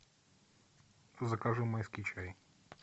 закажи майский чай